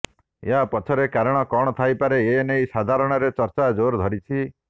ଏହା ପଛରେ କାରଣ କଣ ଥାଇପାରେ ଏନେଇ ସାଧାରଣରେ ଚର୍ଚ୍ଚା ଜୋର ଧରିଛି